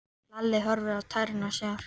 Lalli horfði á tærnar á sér.